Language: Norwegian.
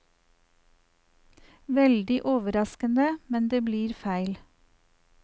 Veldig overraskende, men det blir feil.